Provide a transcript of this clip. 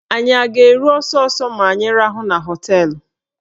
Anyị a ga-eru ọsọsọ ma anyị rahụọ na họteelụ?